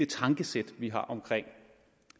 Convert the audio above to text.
det tankesæt vi har omkring